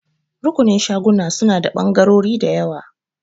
Rukunin shaguna suna da ɓangarori da yawa.